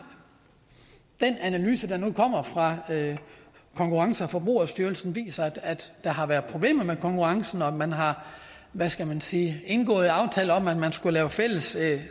den analyse der nu kommer fra konkurrence og forbrugerstyrelsen viser at der har været problemer med konkurrencen og at man har hvad skal man sige indgået en aftale om at man skulle lave fælles